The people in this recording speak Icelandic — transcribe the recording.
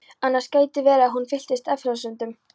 Annars gæti verið að hún fylltist efasemdum.